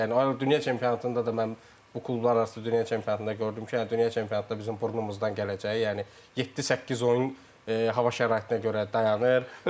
Yəni dünya çempionatında da mən bu klublararası dünya çempionatında gördüm ki, dünya çempionatda bizim burnumuzdan gələcəyi, yəni yeddi-səkkiz oyun hava şəraitinə görə dayanır.